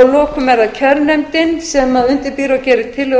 að lokum er það kjörnefndin sem undirbýr og gerir tillögur